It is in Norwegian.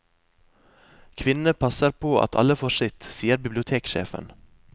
Kvinnene passer på at alle får sitt, sier biblioteksjefen.